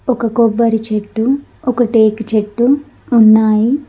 ఒక కొబ్బరి చెట్టు ఒక తేకి చెట్టు ఉన్నాయి.